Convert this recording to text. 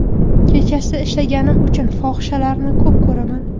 Kechasi ishlaganim uchun fohishalarni ko‘p ko‘raman.